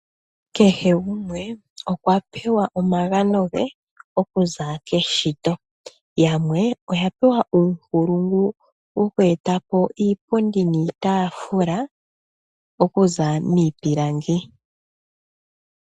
Kehe gumwe okwa pewa omagano ge okuza keshito yamwe oya pewa uunkulungu wokweetapo iipundi niitafula okuza miipilangi.